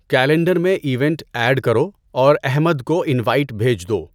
calendar میں event add کرو اور احمد کو انوایٔٹ بھیج دو